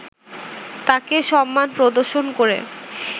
তাঁকে সম্মান প্রদর্শন করে